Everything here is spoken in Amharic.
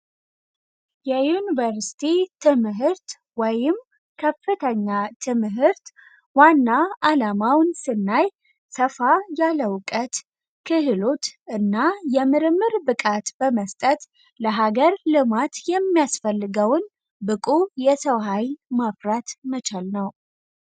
የዩኒቨርስቲ ትምህርት ወይም ከፍተኛ ትምህርት ዋና አላማውን ስናይ ሰፋ ያለ እውቀት፣ ክህሎት እና የምርምር ብቃት በመስጠት ለሀገር ልማት የሚያስፈልገውን ብቁ የሰው ሀይል ማፍራት መቻል ነው።